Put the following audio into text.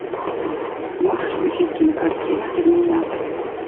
можешь включить кинокартину терминатор